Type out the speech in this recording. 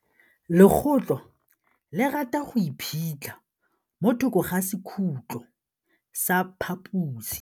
Legôtlô le rata go iphitlha mo thokô ga sekhutlo sa phaposi.